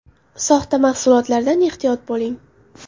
Soxta mahsulotlardan ehtiyot bo‘ling !!!